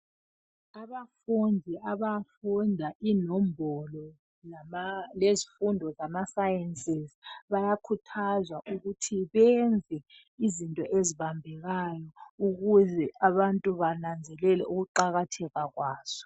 Abafundi abafunda inombolo lama lezifundo zamaSciences bayakhuthazwa ukuthi benze izinto ezibambekayo ukuze abantu bananzelele ukuqakatheka kwazo.